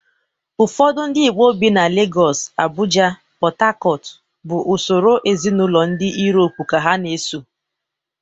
Ụfọdụ ndị Igbo bi na Legọs, Abụja, PọtHakọt bụ usoro ezinaụlọ ndị Yurop ka ha na-eso